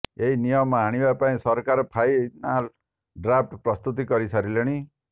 ଏହି ନିୟମ ଆଣିବା ପାଇଁ ସରକାର ଫାଇନାଲ ଡ୍ରାଫଟ ପ୍ରସ୍ତୁତ କରିସାରିଲେଣି